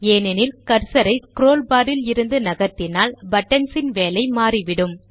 ஏனென்றால் கர்சர் ஐ scroll bar ல் இருந்து நகர்த்தினால் பட்டன்ஸ் ன் வேலை மாறிவிடும்